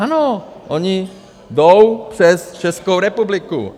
Ano, oni jdou přes Českou republiku.